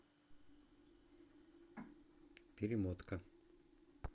перемотка